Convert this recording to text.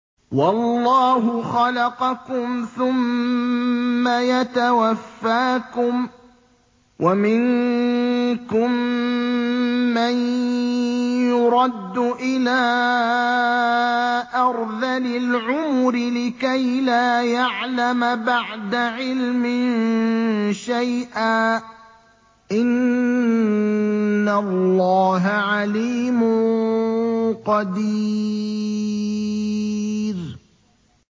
وَاللَّهُ خَلَقَكُمْ ثُمَّ يَتَوَفَّاكُمْ ۚ وَمِنكُم مَّن يُرَدُّ إِلَىٰ أَرْذَلِ الْعُمُرِ لِكَيْ لَا يَعْلَمَ بَعْدَ عِلْمٍ شَيْئًا ۚ إِنَّ اللَّهَ عَلِيمٌ قَدِيرٌ